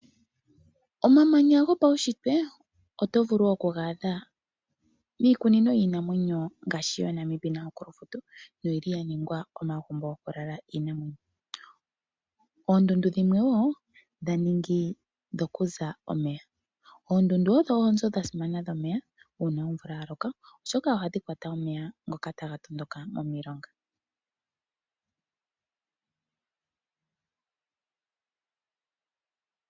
Omamanya gopaunshitwe oto vulu okuga adha miikunino yiinamwenyo ngaashi yaNamib naNaukluft noyi li ya ningwa omagumbo gokulala iinamwenyo. Oondundu dhimwe wo dha ningi dhokuza omeya. Oondundu odho oonzo dha simana dhomeya uuna omvula ya loka, oshoka ohadhi kwata omeya ngoka taga tondoka momilonga.